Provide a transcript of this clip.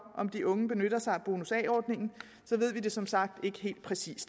om de unge benytter sig af bonus a ordningen så ved vi det som sagt ikke helt præcis